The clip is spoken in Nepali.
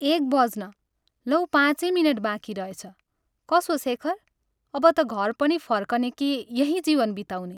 एक बज्न लौ पाँचै मिनट बाँकी रहेछ कसो शेखर, अब ता घर पनि फर्कने कि यहीं जीवन बिताउने?